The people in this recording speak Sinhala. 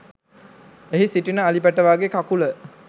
එහි සිටින අලි පැටවාගේ කකුල